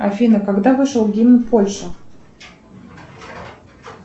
афина когда вышел гимн польши